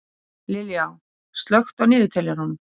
Liljá, slökktu á niðurteljaranum.